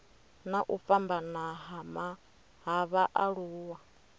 na u fhambana ha vhaaluwa